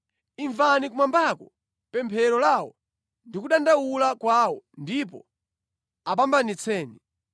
imvani kumwambako pemphero lawo ndi kudandaula kwawo, ndipo apambanitseni.